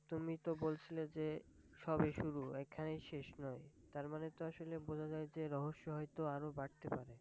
তুমি তো বলছিলে যে সবে শুরু এখানেই শেষ নয়, তারমানে তো আসলে বোঝা যায় যে রহস্য আরও বাড়তে পারে।